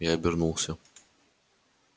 я обернулся